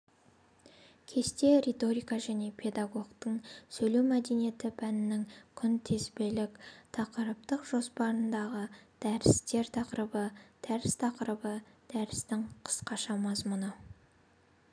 кесте риторика және педагогтың сөйлеу мәдениеті пәнінің күнтізбеліктақырыптық жоспарындағы дәрістер тақырыбы дәріс тақырыбы дәрістің қысқаша мазмұны